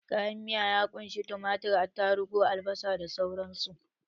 Kayan miya ya ƙunshi tumatir, atarugu, albasa da sauran su.